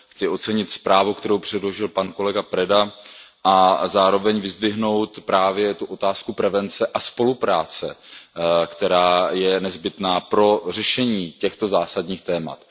Chci ocenit zprávu, kterou předložil pan kolega Preda, a zároveň vyzdvihnout právě tu otázku prevence a spolupráce, která je nezbytná pro řešení těchto zásadních témat.